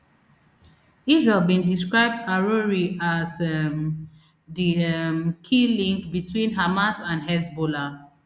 israel bin describe arouri as um di um key link between hamas and hezbollah